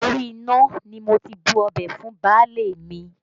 Orí iná ni mo ti bu ọbẹ̀ fún baálé mi